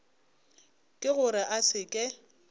ke gore a se ke